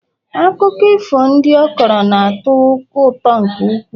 akụkọ ifo ndị ọ kọrọ na-atọ ụtọ nke ukwuu